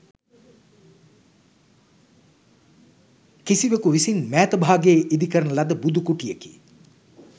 කිසිවකු විසින් මෑත භාගයේ ඉදිකරන ලද බුදු කුටියකි.